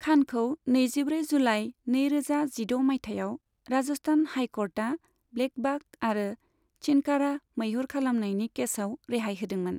खानखौ नैजिब्रै जुलाइ नैरोजा जिद' मायथाइयाव राजस्थान हाइ क'र्टआ ब्लेकबाख आरो चिनकारा मैहुर खालामनायनि केसाव रेहाय होदोंमोन।